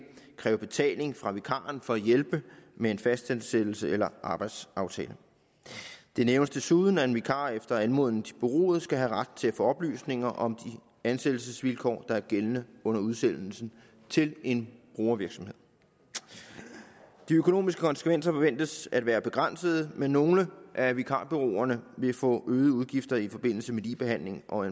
kræve betaling fra vikaren for at hjælpe med en fastansættelse eller arbejdsaftale det nævnes desuden at en vikar efter anmodning til bureauet skal have ret til at få oplysninger om de ansættelsesvilkår der er gældende under udsendelsen til en brugervirksomhed de økonomiske konsekvenser forventes at være begrænsede men nogle af vikarbureauerne vil få øgede udgifter i forbindelse med ligebehandling og